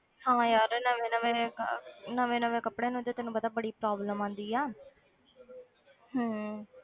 ਹਾਂ ਯਾਰ ਨਵੇਂ ਨਵੇਂ ਕ~ ਨਵੇਂ ਨਵੇਂ ਕੱਪੜਿਆਂ ਨੂੰ ਜੇ ਤੈਨੂੰ ਪਤਾ ਬੜੀ problem ਆਉਂਦੀ ਆ ਹਮ